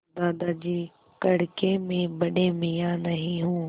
दादाजी कड़के मैं बड़े मियाँ नहीं हूँ